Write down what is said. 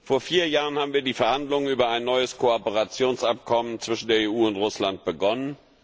Vor vier Jahren haben wir die Verhandlungen über ein neues Kooperationsabkommen zwischen der EU und Russland begonnen.